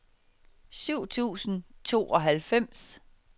syv tusind og tooghalvfems